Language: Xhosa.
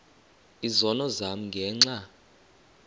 izono zam ngenxa